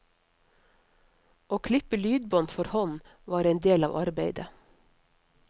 Å klippe lydbånd for hånd var en del av arbeidet.